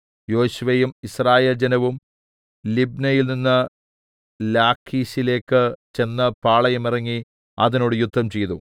യോശുവയും യിസ്രായേൽ ജനവും ലിബ്നയിൽനിന്ന് ലാഖീശിലേക്ക് ചെന്ന് പാളയം ഇറങ്ങി അതിനോട് യുദ്ധംചെയ്തു